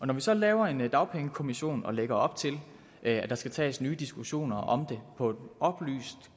når vi så laver en dagpengekommission og lægger op til at der skal tages nye diskussioner om det på et oplyst